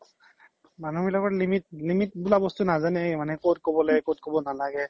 মানু্হ বিলাকৰ limit বোলা বস্তু নাজানে মানে কত কব লাগে কত কব নালাগে